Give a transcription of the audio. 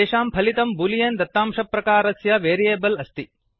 तेषां फलितम् बूलियन् दत्तांशप्रकारस्य वेरियेबल् आस्ति